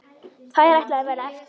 Tveir ætluðu að verða eftir.